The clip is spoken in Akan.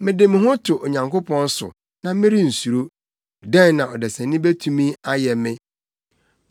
mede me ho to Onyankopɔn so; na merensuro. Dɛn na ɔdesani betumi ayɛ me?